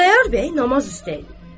Xudayar bəy namaz üstə idi.